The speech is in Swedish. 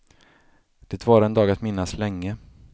Det var en dag att minnas länge.